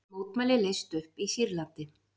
Mótmæli leyst upp í Sýrlandi